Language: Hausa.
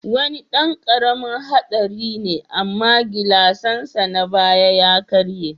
Wani dan karamin hadari ne amma gilasnsa na baya ya karye.